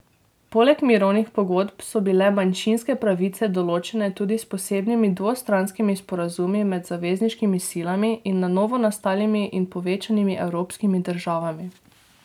Poleg mirovnih pogodb so bile manjšinske pravice določene tudi s posebnimi dvostranskimi sporazumi med zavezniškimi silami in na novo nastalimi in povečanimi evropskimi državami.